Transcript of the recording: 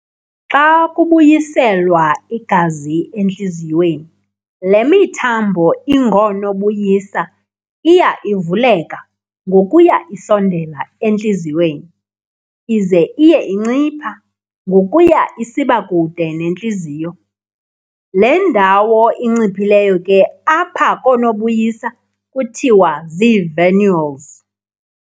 Xa kubuyiselwa igazi entliziyweni le mithambo ingoonobuyisa iya ivuleka ngokuya isondela entliziyweni, ize iye incipha ngokuya isiba kude nentliziyo, le ndawo inciphileyo ke apha koonobuyisa kuthiwa zii-"venules".